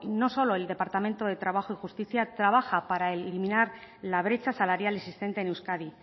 no solo el departamento de justicia trabaja para eliminar la brecha salarial existente en euskadi